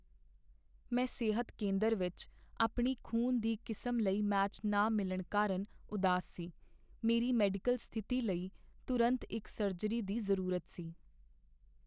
ਮੈਂ ਸਿਹਤ ਕੇਂਦਰ ਵਿੱਚ ਆਪਣੀ ਖ਼ੂਨ ਦੀ ਕਿਸਮ ਲਈ ਮੈਚ ਨਾ ਮਿਲਣ ਕਾਰਨ ਉਦਾਸ ਸੀ। ਮੇਰੀ ਮੈਡੀਕਲ ਸਥਿਤੀ ਲਈ ਤੁਰੰਤ ਇੱਕ ਸਰਜਰੀ ਦੀ ਜ਼ਰੂਰਤ ਸੀ।